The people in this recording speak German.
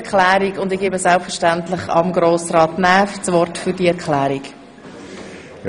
Der Motionär gibt eine Erklärung ab.